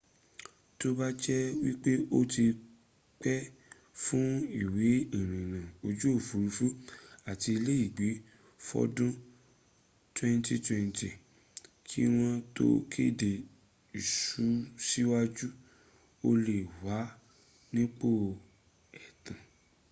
tó bá jẹ́ wípé o ti pè fún ìwé ìrìnnà ojú òfúrufú àti iléègbé fọ́dún 2020 kí wọ́n tó kéde ìsúnsíwájú o lè wà nípò ẹ̀tàn